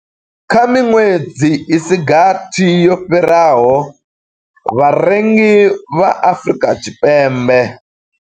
Kha miṅwedzi i si gathi yo fhiraho, vharengi vha Afrika.